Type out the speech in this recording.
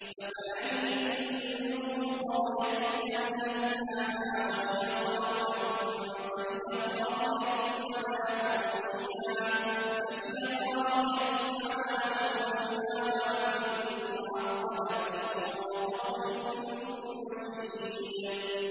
فَكَأَيِّن مِّن قَرْيَةٍ أَهْلَكْنَاهَا وَهِيَ ظَالِمَةٌ فَهِيَ خَاوِيَةٌ عَلَىٰ عُرُوشِهَا وَبِئْرٍ مُّعَطَّلَةٍ وَقَصْرٍ مَّشِيدٍ